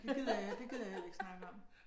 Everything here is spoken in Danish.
Det gider jeg det gider jeg heller ikke snakke om